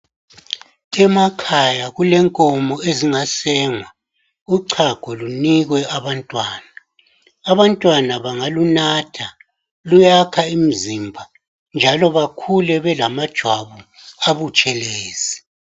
Emakhaya kulenkomo ezingasengwa ucago lunikwe abantwana abantwana bangalunatha luyakha umzimba njalo bakhule belama jwamu abutshelezi